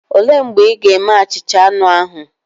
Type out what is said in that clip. Olee mgbe ị ga-eme achicha anu ahu?